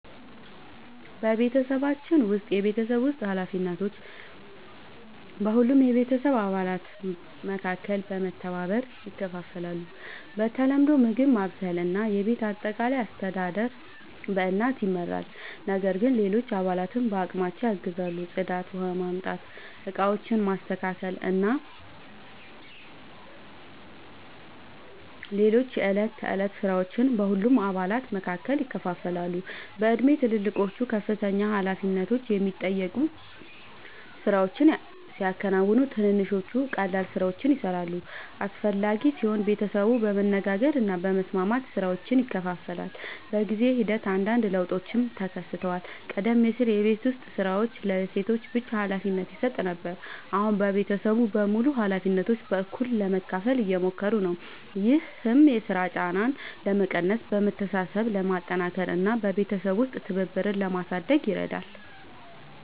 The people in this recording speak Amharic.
በቤተሰባችን ውስጥ የቤት ውስጥ ኃላፊነቶች በሁሉም የቤተሰብ አባላት መካከል በመተባበር ይከፋፈላሉ። በተለምዶ ምግብ ማብሰል እና የቤት አጠቃላይ አስተዳደር በእናት ይመራል፣ ነገር ግን ሌሎች አባላትም በአቅማቸው ያግዛሉ። ጽዳት፣ ውኃ ማምጣት፣ ዕቃዎችን ማስተካከል እና ሌሎች የዕለት ተዕለት ሥራዎች በሁሉም አባላት መካከል ይከፋፈላሉ። በእድሜ ትልልቆቹ ከፍተኛ ኃላፊነት የሚጠይቁ ሥራዎችን ሲያከናውኑ፣ ትንንሾቹ ቀላል ሥራዎችን ይሠራሉ። አስፈላጊ ሲሆን ቤተሰቡ በመነጋገር እና በመስማማት ሥራዎችን ይከፋፍላል። በጊዜ ሂደት አንዳንድ ለውጦችም ተከስተዋል። ቀደም ሲል የቤት ዉስጥ ሥራዎች ለሴቶች ብቻ ሀላፊነት ይሰጥ ነበር፣ አሁን ቤተሰቡ በሙሉ ኃላፊነቶችን በእኩልነት ለመካፈል እየሞከሩ ነው። ይህም የሥራ ጫናን ለመቀነስ፣ መተሳሰብን ለማጠናከር እና በቤተሰብ ውስጥ ትብብርን ለማሳደግ ይረዳል።